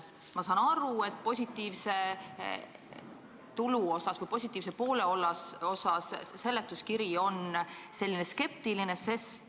Ma saan aru, et positiivse poole osas on seletuskiri skeptiline.